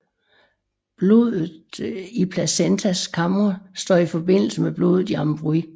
Blodet i placentas kamre står i forbindelse med blodet i embryoet